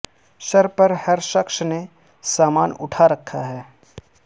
سر پر ہر شخص نے سامان اٹھا رکھا ہے